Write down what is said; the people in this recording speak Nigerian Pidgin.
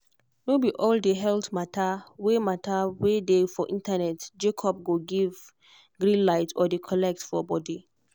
no be all the health matter wey matter wey dey for internet jacob go give green light or dey correct for body.